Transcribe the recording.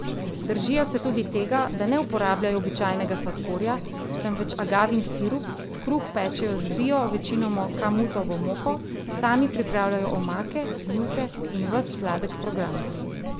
Držijo se tudi tega, da ne uporabljajo običajnega sladkorja, temveč agavin sirup, kruh pečejo z bio, večinoma kamutovo moko, sami pripravljajo omake, juhe in ves sladek program.